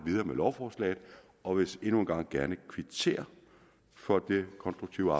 med lovforslaget og vil endnu en gang gerne kvittere for det konstruktive